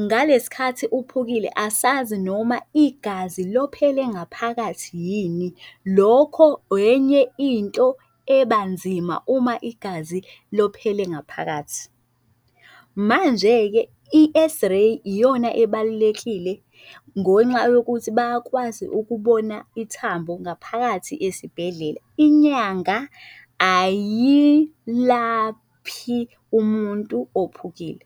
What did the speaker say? ngalesikhathi uphekile, asazi noma igazi lophele ngaphakathi yini, lokho enye into ebanzima uma igazi lophele ngaphakathi. Manje-ke i-X-ray iyona ebalulekile ngonxa yokuthi bakwazi ukubona ithambo ngaphakathi esibhedlela. Inyanga ayilaphi umuntu ophukile.